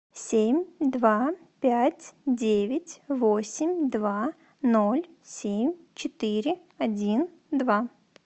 семь два пять девять восемь два ноль семь четыре один два